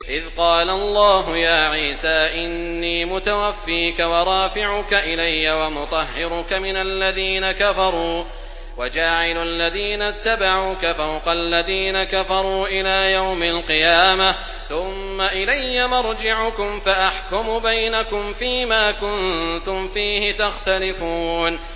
إِذْ قَالَ اللَّهُ يَا عِيسَىٰ إِنِّي مُتَوَفِّيكَ وَرَافِعُكَ إِلَيَّ وَمُطَهِّرُكَ مِنَ الَّذِينَ كَفَرُوا وَجَاعِلُ الَّذِينَ اتَّبَعُوكَ فَوْقَ الَّذِينَ كَفَرُوا إِلَىٰ يَوْمِ الْقِيَامَةِ ۖ ثُمَّ إِلَيَّ مَرْجِعُكُمْ فَأَحْكُمُ بَيْنَكُمْ فِيمَا كُنتُمْ فِيهِ تَخْتَلِفُونَ